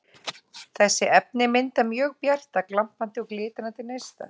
Þessi efni mynda mjög bjarta, glampandi og glitrandi neista.